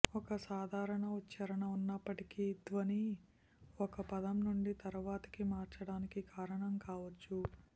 ఒక సాధారణ ఉచ్ఛారణ ఉన్నప్పటికీ ధ్వని ఒక పదం నుండి తరువాతికి మార్చడానికి కారణం కావచ్చు